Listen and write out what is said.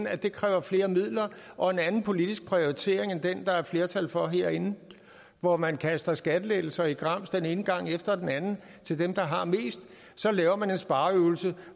at det kræver flere midler og en anden politisk prioritering end den der er flertal for herinde hvor man kaster skattelettelser i grams den ene gang efter den anden til dem der har mest så laver man en spareøvelse